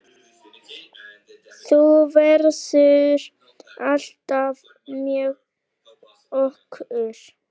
Þú verður alltaf með okkur.